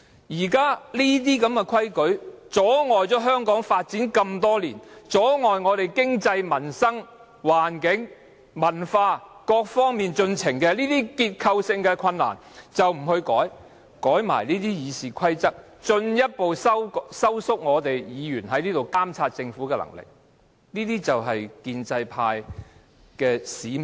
那些多年來一直阻礙香港發展，阻礙經濟、民生、環境及文化等各方面進程的結構性問題不去改變，卻偏要修改《議事規則》，進一步收緊議員在議會監察政府的能力，這就是建制派的使命。